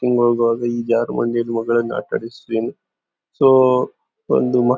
ಸೂ ಒಂದು ಮ--